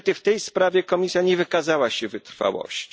Niestety w tej sprawie Komisja nie wykazała się wytrwałością.